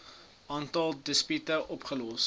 aantal dispute opgelos